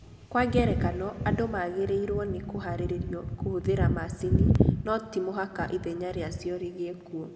Kwa ngerekano, andũ magĩrĩirũo nĩ kũhaarĩrio kũhũthĩra macini, no ti mũhaka ithenya rĩacio rĩgĩe kuo..